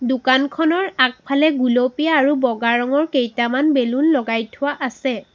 দোকানখনৰ আগফালে গুলপীয়া আৰু বগা ৰঙৰ কেইটামান বেলুন লগাই থোৱা আছে।